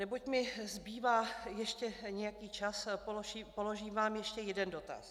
Neboť mi zbývá ještě nějaký čas, položím vám ještě jeden dotaz.